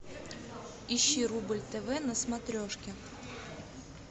ищи рубль тв на смотрешке